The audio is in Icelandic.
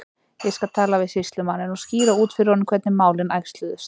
Ég skal tala við sýslumanninn og skýra út fyrir honum hvernig málin æxluðust.